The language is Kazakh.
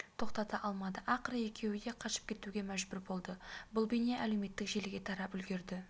тоқтата алмады ақыры екеуі де қашып кетуге мәжбүр болды бұл бейне әлеуметтік желіге тарап үлгерді